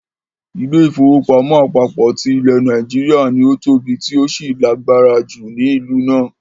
Ilé-ìfowópamọ́ àpapọ ti ilẹ̀ Nàìjíríà ” ni ó tóbi tí ó sì lágbára ju ni ìlú náà.